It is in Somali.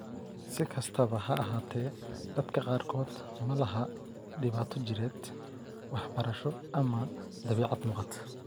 Si kastaba ha ahaatee, dadka qaarkood ma laha dhibaato jireed, waxbarasho, ama dabeecad muuqata.